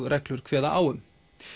reglur kveða á um